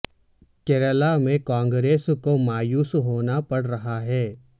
کیرالہ میں کانگریس کو مایوس ہونا پڑ رہا ہے